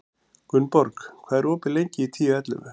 Gunnborg, hvað er opið lengi í Tíu ellefu?